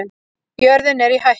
Jörðin er í hættu